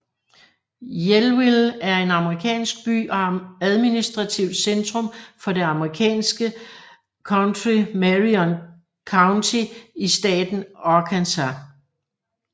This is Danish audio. Yellville er en amerikansk by og administrativt centrum for det amerikanske county Marion County i staten Arkansas